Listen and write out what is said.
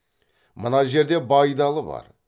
мына жерде байдалы бар